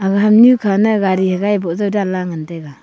aga ham nyu khane gari hagaye boh jaw danla ngan taiga.